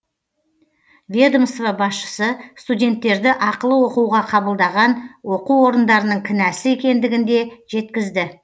ведомство басшысы студенттерді ақылы оқуға қабылдаған оқу орындарының кінәсі екендігін де жеткізді